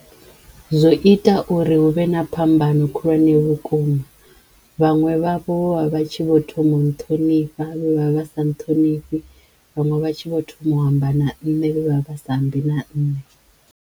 Zwo ita uri huvhe na phambano khulwane vhukuma vhaṅwe vhavho vho vha vha tshi vho thoma u nṱhonifha vhe vha vha sa nṱhonifhi vhaṅwe vha tshi vho thoma u amba na ṋne vhe vha vha vha sa ambi na nne.